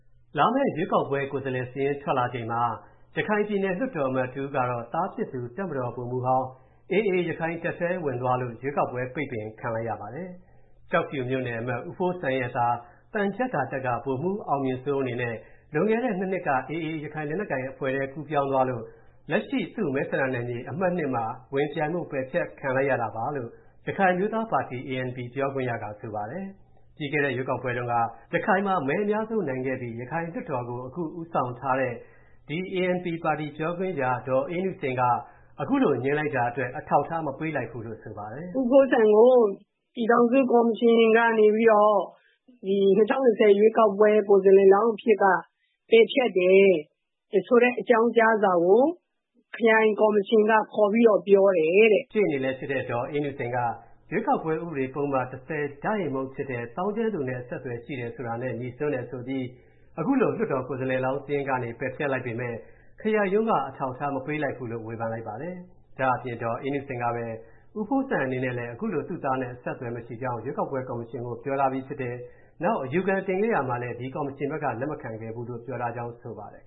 လာမယ့်ရွေးကောက်ပွဲ ကိုယ်စားလှယ်စာရင်း ထွက်လာချိန်မှာ ရခိုင်ပြည်နယ်လွှတ်တော် အမတ်တဦးကတော့ သားဖြစ်သူ တပ်မတော်ဗိုလ်မှူးဟောင်း AA ရခိုင်တပ်ထဲ ဝင်သွားလို့ ရွေးကောက်ပွဲ ပိတ်ပင်ခံလိုက်ရပါတယ်။ ကျောက်ဖြူမြို့နယ်အမတ် ဦးဖိုးစံရဲ့သား သံချပ်ကာတပ်က ဗိုလ်မှူးအောင်မြင့်စိုးအနေနဲ့ လွန်ခဲ့တဲ့ ၂ နှစ်က AA ရခိုင်လက်နက်ကိုင်အဖွဲ့ထဲ ကူးပြောင်းသွားလို့ လက်ရှိ သူ့မဲဆန္ဒနယ်မြေ အမှတ် ၂ မှာ ဝင်ပြိုင်ဖို့ ပယ်ဖျက်ခံလိုက်ရတာပါလို့ ရခိုင်အမျိုးသားပါတီ (ANP) ပြောခွင့်ရက ဆိုပါတယ်။ ပြီးခဲ့တဲ့ ရွေးကောက်ပွဲတုန်းက ရခိုင်မှာ မဲအများဆုံးရခဲ့ပြီး ရခိုင်လွှတ်တော်ကို ဦးဆောင်ထားတဲ့ ဒီ ANP ပါတီ ပြောခွင့်ရ ဒေါ်အေးနုစိန်က အခုလို ငြင်းလိုက်တာအတွက် အထောက်အထား မပေးလိုက်ဘူးလို့ ဆိုလိုက်ပါတယ်။ “ဦးဖိုးစံကို ပြည်ထောင်စုကော်မရှင်ကနေပြီးတော့ ၂၀၂၀ ရွေးကောက်ပွဲ ကိုယ်စားလှယ်လောင်း အဖြစ်က ပယ်ဖျက်တယ်ဆိုတဲ့ အကြောင်းကြားစာကို ခရိုင်ကော်မရှင်က ခေါ်ပြီးတော့ ပြောတယ်တဲ့။” ရှေ့နေလည်းဖြစ်တဲ့ ဒေါ်အေးနုစိန်က ရွေးကောက်ပွဲ ဥပဒေပုဒ်မ ၁၀(ဎ) ဖြစ်တဲ့ သောင်းကျန်းသူနဲ့ အဆက်အသွယ်ရှိတယ် ဆိုတာနဲ့ ငြိစွန်းတယ်ဆိုပြီး ခုလို လွှတ်တော်ကိုယ်စားလှယ်လောင်း စာရင်းကနေ ပယ်ဖျက်လိုက်ပေမယ့် ခရိုင်ရုံးက အထောက်အထား မပေးလိုက်ဘူးလို့ ဝေဖန်လိုက်ပါတယ်။ ဒါ့အပြင် ဒေါ်အေးနုစိန်ကပဲ ဦးဖိုးစံအနေနဲ့လည်း ခုလို သူ့သားနဲ့ အဆက်အသွယ် မရှိကြောင်း ရွေးကောက်ပွဲကော်မရှင်ကို ပြောထားပြီးဖြစ်တယ်၊ နောက် အယူခံတင်ခဲ့ရာမှာလည်း ဒီကော်မရှင်ဘက်က လက်မခံခဲ့ဘူးလို့ ပြောထားကြောင်း ဆိုပါတယ်